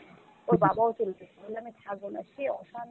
ওর বাবাও শুনছে বলল আমি ছাড়বো না সে অশান্তি,